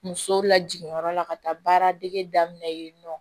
Musow lajigiyɔrɔ la ka taa baara dege daminɛ yen nɔ